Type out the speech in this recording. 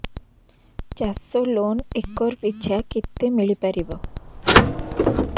ଚାଷ loan acre ପିଛା କେତେ ମିଳି ପାରିବ